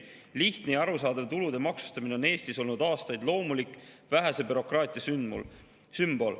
Lihtne ja arusaadav tulude maksustamine on Eestis olnud aastaid loomulik vähese bürokraatia sümbol.